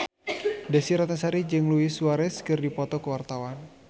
Desy Ratnasari jeung Luis Suarez keur dipoto ku wartawan